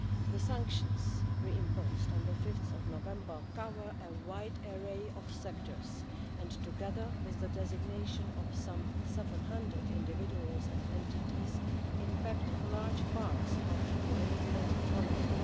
The sanctions re imposed on 5 November cover a wide array of sectors and, together with the designation of some 700 individuals and entities, impact large parts of the Iranian economy.